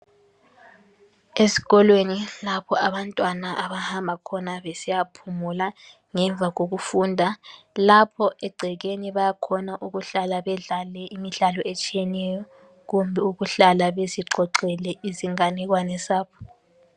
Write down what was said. Esikolweni lapho abantwana abahamba khona besiya phumula ngemva kokufunda. Lapho egcekeni bayakhona ukuhlala bedlale imidlalo etshiyeneyo kumbe ukuhlala bezixoxele izinganekwane zabo.